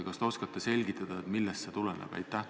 Kas te oskate selgitada, millest see tuleneb?